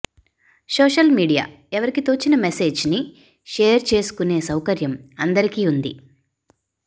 social media ఎవరికీ తోచిన message ని షేర్ చేసుకునే సౌకర్యం అందరికి వుంది